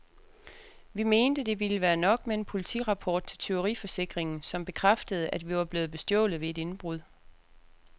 Vi mente, det ville være nok med en politirapport til tyveriforsikringen, som bekræftede, at vi var blevet bestjålet ved et indbrud.